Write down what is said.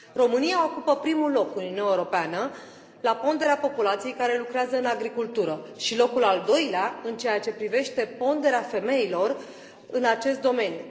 România ocupă primul loc în Uniunea Europeană la ponderea populației care lucrează în agricultură și locul al doilea în ceea ce privește ponderea femeilor în acest domeniu.